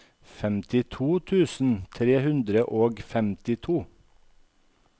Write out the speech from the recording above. femtito tusen tre hundre og femtito